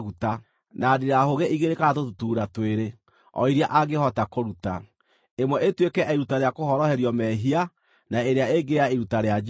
na ndirahũgĩ igĩrĩ kana tũtutuura twĩrĩ, o iria angĩhota kũruta, ĩmwe ĩtuĩke ya iruta rĩa kũhoroherio mehia, na ĩrĩa ĩngĩ ya iruta rĩa njino.